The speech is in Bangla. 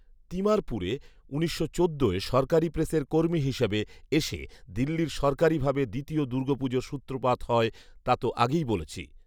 তিমারপুরে উনিশশো চোদ্দয় সরকারী প্রেসের কর্মী হিসাবে এসে দিল্লির সরকারিভাবে দ্বিতীয় দুর্গাপুজোর সূত্রপাত হয়, তা তো আগেই বলেছি